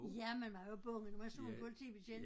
Ja man var jo bange når man så en politibetjent